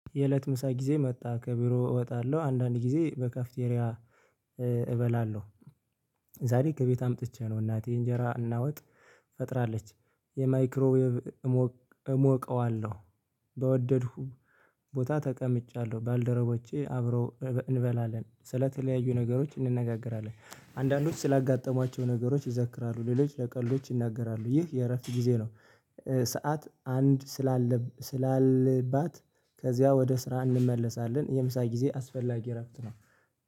የእለት ምሳ ጊዜ መጣ ከቢሮ እወጣለሁ አንዳንድ ጊዜ በካፍቴሪያ እበላለሁ። ዛሬ ከቤት አምጥቼ ነው እናቴ እንጀራ እና ወጥ ፈጥራለች የማይክሮዌብ እሞክ እሞቀዋለሁ በወደድኩ ቦታ ተቀምጫለሁ ባልደረቦቼ አብረው እንበላለን ስለተለያዩ ነገሮች እንነጋገራለን አንዳንዶች ስላጋጠሟቸው ነገሮች ይዘክራሉ ሌሎች ለቀልዶች ይናገራሉ ይህ የእረፍት ጊዜ ነው። ሰዓት አንድ ስላለ ስላለባት ከዚያ ወደ ስራ እንመለሳለን የምሳ ጊዜ አስፈላጊ እረፍት ነው